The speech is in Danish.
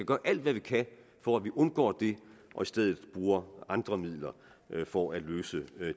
gøre alt hvad vi kan for at vi undgår det og i stedet bruger andre midler for at løse